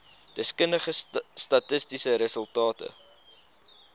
deskundige statistiese resultate